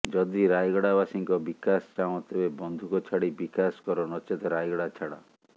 ଯଦି ରାୟଗଡା ବାସୀଙ୍କ ବିକାଶ ଚାହଁ ତେବେ ବନ୍ଧୁକ ଛାଡି ବିକାଶ କର ନଚେତ୍ ରାୟଗଡା ଛାଡ